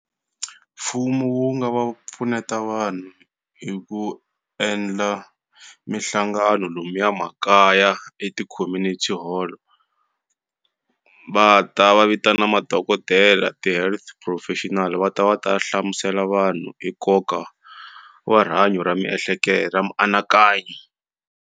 Mfumo wu nga va pfuneta vanhu hi ku endla mihlangano lomuya makaya eti-community hall va ta va vita na madokodela ti-health professional va ta va ta hlamusela vanhu hi nkoka wa rihanyo ra miehleketo ra mianakanyo.